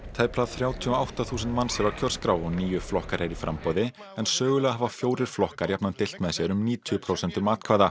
tæplega þrjátíu og átta þúsund manns eru á kjörskrá og níu flokkar eru í framboði en sögulega hafa fjórir flokkar jafnan deilt með sér um níutíu prósentum atkvæða